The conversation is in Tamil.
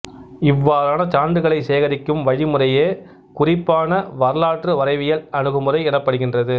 இவ்வாறான சான்றுகளைச் சேகரிக்கும் வழிமுறையே குறிப்பான வரலாற்றுவரைவியல் அணுகுமுறை எனப்படுகின்றது